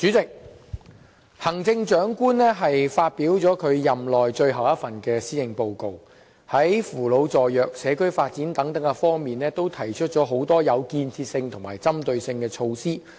主席，行政長官發表了任內最後一份施政報告，在扶老助弱、社區發展等方面都提出很多有建設性和針對性的措施。